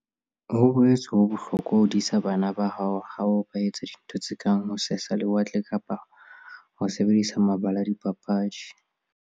Ho boetse ho bohlokwa ho disa bana ba hao ha ba etsa dintho tse kang ho sesa lewatle kapa ho sebedisa mabala a dipapadi.